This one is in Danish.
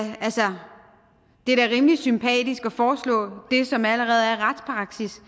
det er da rimelig sympatisk at foreslå det som allerede er retspraksis